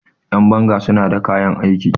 Yanbanga suna da kayan aiki